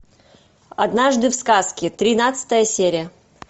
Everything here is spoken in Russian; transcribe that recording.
однажды в сказке тринадцатая серия